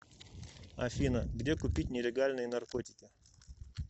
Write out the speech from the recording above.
афина где купить нелегальные наркотики